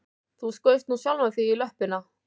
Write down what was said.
Þú skaust nú sjálfan þig í löppina